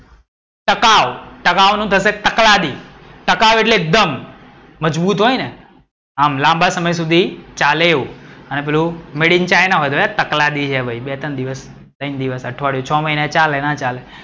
ટકાઉ. ટકાઉ નું થસે તકલાદી. ટકાઉ એટ્લે દમ મજબૂત હોય ને આમ લાંબા સમય સુધી ચાલે એવું. અને પેલું made in china હોય તકલાદી હે ભઈ બે ટન દિવસ અઠવાડિયું છ મહિના ચાલે.